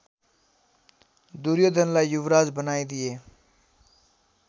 दुर्योधनलाई युवराज बनाइदिए